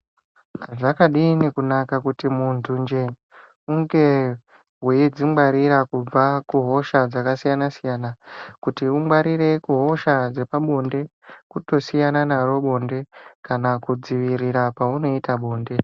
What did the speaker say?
Zvakadini kunaka kuti munhunje hunge weidzingwarira kubva kuhosha dzakasiyana siyana. Kuti ungwarire kuhosha dzepabonde kutosiyana naro bonde. Kana kudzivirira kwaunoita bonde